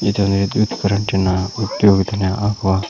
ಇದು ಒಂದು ವಿದ್ಯುತ್ ಕರೆಂಟಿನ ಉದ್ಯೋಗಿದನ ಆವಾ--